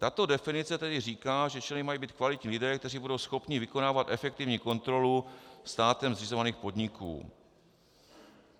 Tato definice tedy říká, že členy mají být kvalitní lidé, kteří budou schopni vykonávat efektivní kontrolu státem zřizovaných podniků.